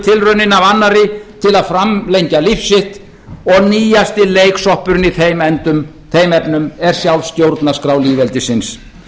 tilraunina af annarri til að framlengja líf sitt og nýjasti leiksoppurinn í þeim efnum er sjálf stjórnarskrá lýðveldisins